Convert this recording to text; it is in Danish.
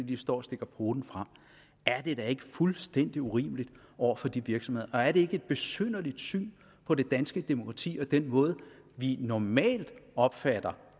de står og stikker poten frem er det da ikke fuldstændig urimeligt over for de virksomheder og er det ikke et besynderligt syn på det danske demokrati og den måde vi normalt opfatter